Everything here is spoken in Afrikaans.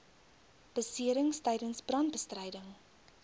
beserings tydens brandbestryding